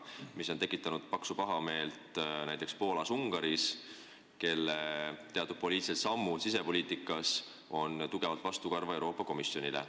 See on tekitanud paksu pahameelt näiteks Poolas ja Ungaris, kelle teatud poliitilised sammud sisepoliitikas on Euroopa Komisjonile tugevalt vastukarva.